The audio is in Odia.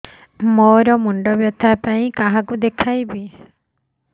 ମୋର ମୁଣ୍ଡ ବ୍ୟଥା ପାଇଁ କାହାକୁ ଦେଖେଇବି